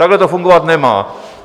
Takhle to fungovat nemá.